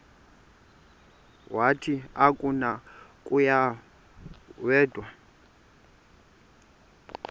wathi akunakuya wedw